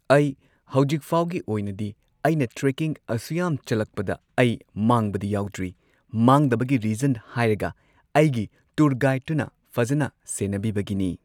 ꯑꯩ ꯍꯧꯖꯤꯛꯐꯥꯎꯒꯤ ꯑꯣꯏꯅꯗꯤ ꯑꯩꯅ ꯇ꯭ꯔꯦꯀꯤꯡ ꯑꯁꯨꯌꯥꯝ ꯆꯠꯂꯛꯄꯗ ꯑꯩ ꯃꯥꯡꯕꯗꯤ ꯌꯥꯎꯗ꯭ꯔꯤ꯫ ꯃꯥꯡꯗꯕꯒꯤ ꯔꯤꯖꯟ ꯍꯥꯏꯔꯒ ꯑꯩꯒꯤ ꯇꯨꯔ ꯒꯥꯏꯗꯇꯨꯅ ꯐꯖꯟꯅ ꯁꯦꯟꯅꯕꯤꯕꯒꯤꯅꯤ꯫